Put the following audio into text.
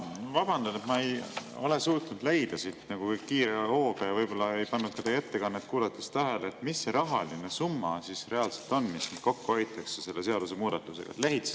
Ma vabandan, ma ei ole suutnud siit kiiruga leida ja võib-olla ei pannud ka teie ettekannet kuulates tähele, mis see summa siis reaalselt on, mis selle seadusemuudatusega kokku hoitakse.